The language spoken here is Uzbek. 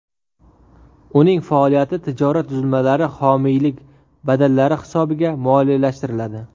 Uning faoliyati tijorat tuzilmalari homiylik badallari hisobiga moliyalashtiriladi.